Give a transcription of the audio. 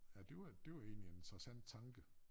Ja det var det var egentlig interessant tanke